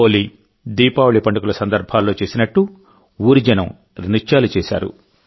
హోలీదీపావళి పండుగల సందర్భాల్లో చేసినట్టు ఊరి జనం నృత్యాలు చేశారు